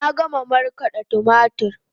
Na gama markaden tumatur